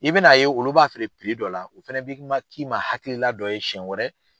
I bɛn'a ye olu b'a feere dɔ la, o fɛnɛ b'i ma k'i ma hakilila dɔ ye siɲɛ wɛrɛ